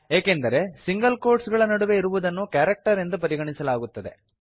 ಏಕೆಂದರೆ single quotes ಗಳ ನಡುವೆ ಇರುವುದನ್ನು ಕ್ಯಾರೆಕ್ಟರ್ ಎಂದು ಪರಿಗಣಿಸಲಾಗುತ್ತದೆ